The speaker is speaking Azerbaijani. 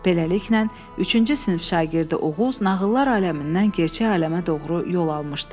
Beləliklə, üçüncü sinif şagirdi Oğuz nağıllar aləmindən gerçək aləmə doğru yol almışdı.